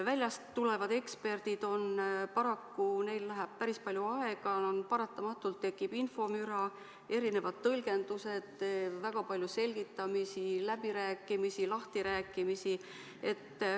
Väljast tulevad eksperdid, paraku neil läheb päris palju aega, paratamatult tekib infomüra, erinevad tõlgendused, väga palju selgitamisi, läbirääkimisi, lahtirääkimisi.